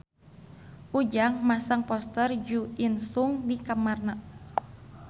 Ujang masang poster Jo In Sung di kamarna